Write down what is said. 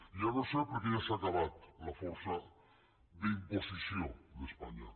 ja no és cert perquè ja s’ha acabat la força d’imposició d’espanya